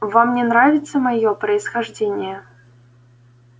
вам не нравится моё происхождение